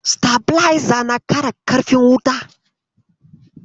Sitabileza na ƙara ƙarfin wuta.